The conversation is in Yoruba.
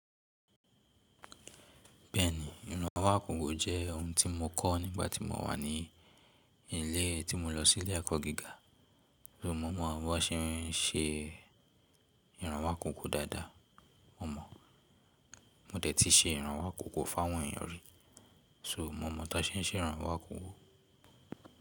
Bẹ́ẹ̀ni, ìrànwọ́ àkọ́kọ́ jẹ́ ohun tí mo kọ́ nígbà tí mo wà ní ilé tí mo lọ sí ilé ẹ̀kọ́ gíga. So mo mọ̀ bí wọ́n ṣe ń ṣe ìrànwọ́ àkọ́kọ́ dáadáa, mo mọ̀. Mo tẹ̀tí ṣe ìrànwọ́ àkọ́kọ́ fún àwọn èèyàn rí. So mo mọ̀ bí wọ́n ṣe ń ṣe ìrànwọ́ àkọ́kọ́.